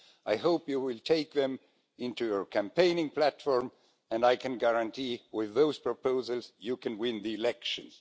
I hope you will take them into your campaigning platform, and I can guarantee with those proposals you can win the elections.